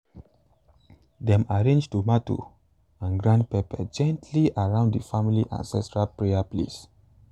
dem arrange tomato and grind pepper gently around the family ancestral prayer place.